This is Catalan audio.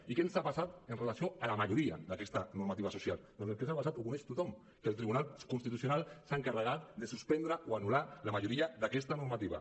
i què ens ha passat amb relació a la majoria d’aquesta normativa social doncs el que ens ha passat ho coneix tothom que el tribunal constitucional s’ha encarregat de suspendre o anul·lar la majoria d’aquesta normativa